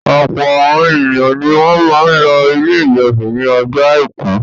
Ọ̀pọ̀ àwọn ènìyàn ni wọ́n máa ń lọ Ilé-ìjọsìn ní ọjọ́ àìkú.